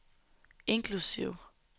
inklusive